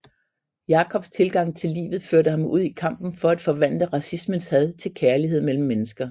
Jacobs tilgang til livet førte ham ud i kampen for at forvandle racismens had til kærlighed mellem mennesker